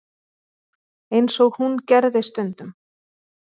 eins og hún gerði stundum.